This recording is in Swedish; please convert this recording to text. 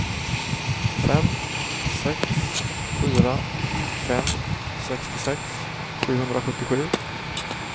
fem sex fyra fem sextiosex sjuhundrasjuttiosju